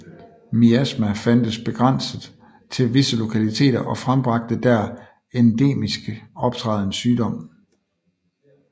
Miasma fandtes begrænset til visse lokaliteter og frembragte der endemisk optrædende sygdom